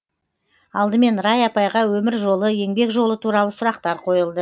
алдымен рая апайға өмір жолы еңбек жолы туралы сұрақтар қойылды